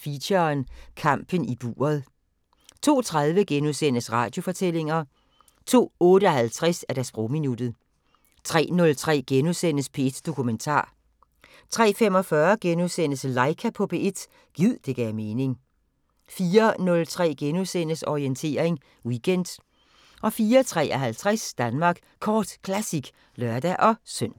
Feature: Kampen i buret * 02:30: Radiofortællinger * 02:58: Sprogminuttet 03:03: P1 Dokumentar * 03:45: Laika på P1 – gid det gav mening * 04:03: Orientering Weekend * 04:53: Danmark Kort Classic (lør-søn)